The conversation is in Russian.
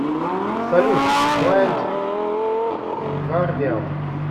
салют блайнд гардиан